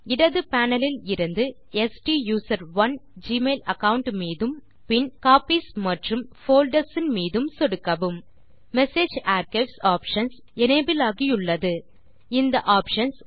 இடது பேனல் இலிருந்து ஸ்டூசரோன் ஜிமெயில் அகாவுண்ட் மீதும் பின் காப்பீஸ் மற்றும் போல்டர்ஸ் மீதும் சொடுக்கவும் மெசேஜ் ஆர்க்கைவ்ஸ் ஆப்ஷன்ஸ் எனபிள் ஆகியுள்ளது இந்த ஆப்ஷன்ஸ்